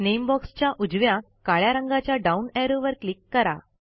name बॉक्सच्या उजव्या काळ्या रंगाच्या डाऊन ऍरोवर क्लिक करा